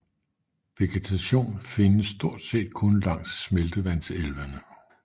Vegetation findes stort set kun langs smeltevandselvene